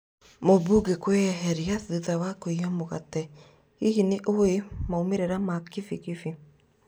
Mũmbunge kwĩeherĩa thutha wa kũiya mũgate, Hihi nĩũĩ maumĩrĩra ma kibi kibi?